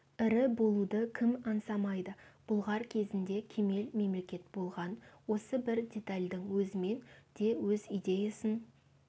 ірі болуды кім аңсамайды бұлғар кезінде кемел мемлекет болған осы бір детальдің өзімен де өз идеясын